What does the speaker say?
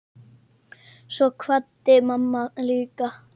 Svo kvaddi mamma líka.